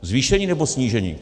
Zvýšení, nebo snížení?